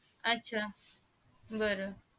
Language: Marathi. आच्छा बर